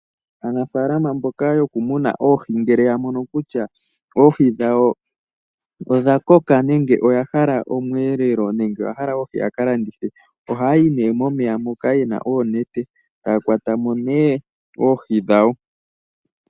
Aanafaalama mboka yokumuna oohi ngele ya mono kutya oohi dhawo odha koka nenge oya hala omweelelo nenge ya hala oohi yaka landithe ohaya yi nee momeya moka yena oonete etaya kwata mo nduno oohi dhawo.